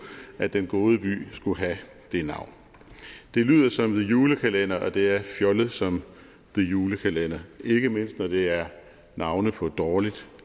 at den gode by skulle have det navn det lyder som the julekalender og det er fjollet som the julekalender ikke mindst når det er navne på dårligt